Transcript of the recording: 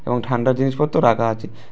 এবং ঠান্ডা জিনিসপত্র রাখা আছে।